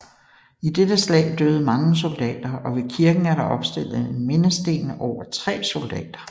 I dette slag døde mange soldater og ved kirken er der opstillet en mindesten over tre soldater